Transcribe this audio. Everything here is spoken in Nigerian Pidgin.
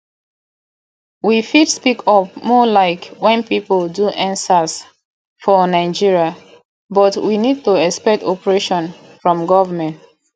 we fit speak up more like when pipo do endsars for nigeria but we need to expect oppression from government